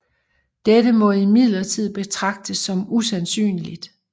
Dette må imidlertid betragtes som usandsynligt